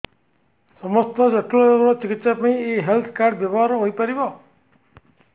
ସମସ୍ତ ଜଟିଳ ରୋଗର ଚିକିତ୍ସା ପାଇଁ ଏହି ହେଲ୍ଥ କାର୍ଡ ବ୍ୟବହାର ହୋଇପାରିବ